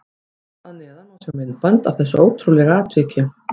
Hér að neðan má sjá myndband af þessu ótrúlega atviki.